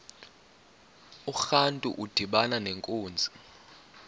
urantu udibana nenkunzi